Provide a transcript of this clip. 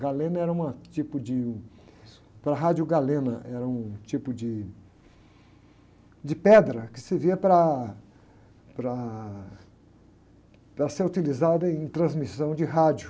Galena era uma, tipo de... Para a rádio galena era um tipo de, de pedra que servia para, para ser utilizada em transmissão de rádio.